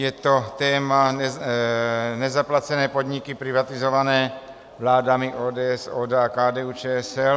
Je to téma nezaplacené podniky privatizované vládami ODS, ODA a KDU-ČSL.